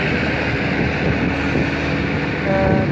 E nunca faltou mesmo. Hã